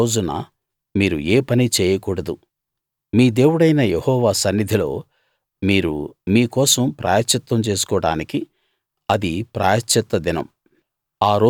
ఆ రోజున మీరు ఏ పనీ చేయకూడదు మీ దేవుడైన యెహోవా సన్నిధిలో మీరు మీ కోసం ప్రాయశ్చిత్తం చేసుకోడానికి అది ప్రాయశ్చిత్త దినం